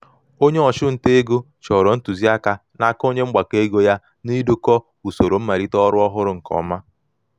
onye ọchụ nta ego chọrọ ntụziaka n'aka onye mgbakọ ego ya n'idokọ usoro malite ọrụ ọhụrụ nke ọma.